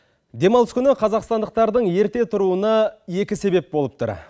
демалыс күні қазақстандықтардың ерте тұруына екі себеп болып тұр